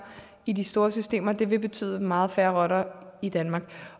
i de store systemer det vil betyde meget færre rotter i danmark